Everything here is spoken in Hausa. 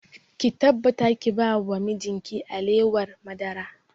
Ki tabbata ki ba wa mijin ki alewar madara!